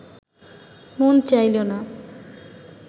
মন চাইল না